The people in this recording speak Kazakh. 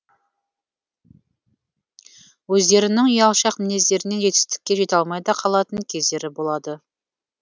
өздерінің ұялшақ мінездерінен жетістікке жете алмай да қалатын кездері болады